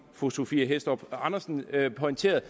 fru sophie hæstorp andersen pointerede